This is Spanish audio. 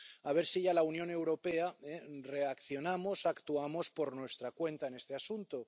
A ver si ya en la Unión Europea reaccionamos y actuamos por nuestra cuenta en este asunto.